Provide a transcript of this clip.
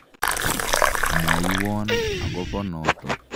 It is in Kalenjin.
Mwaiwon akopo notok.